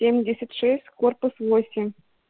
семьдесят шесть корпус восемь